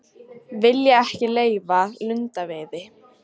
Vilja ekki leyfa lundaveiði